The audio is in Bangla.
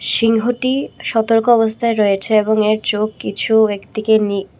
সিংহটি সতর্ক অবস্থায় রয়েছে এবং এর চোখ কিছু একদিকে নি--